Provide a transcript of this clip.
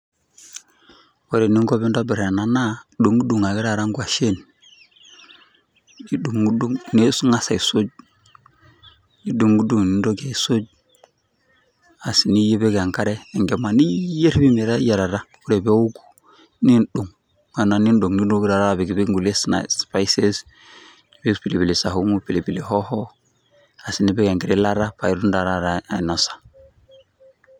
Ore eninko pintobir ena naa, nidung'dung ake taata nkwashen, nidung'dung ning'as aisuj. Nidung'dung nintoki aisuj. Asi nipik enkare enkima niiyier meteyiarata. Ore peoku, niidong' ena nidong' nintoki taata apik nipik nkulie snais spices, nipik pilipili saumu, pilipili hoho, asi nipik enkiti ilata, paitum ta taata ainosa.